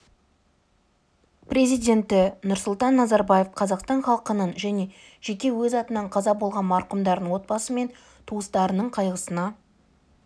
президенті нұрсұлтан назарбаев қазақстан халқының және жеке өз атынан қаза болған марқұмдардың отбасы мен туыстарының қайғысына